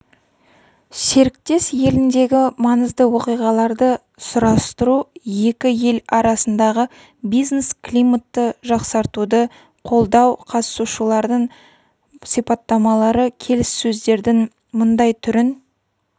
серіктес еліндегі маңызды оқиғаларды сұрастыру екі ел арасындағы бизнес-климатты жақсартуды қолдау қатысушылардың сипаттамалары келіссөздердің мұндай түрін